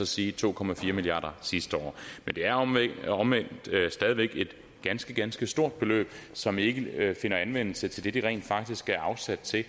sige to milliard kroner sidste år men det er omvendt stadig væk et ganske ganske stort beløb som ikke finder anvendelse til det det rent faktisk er afsat til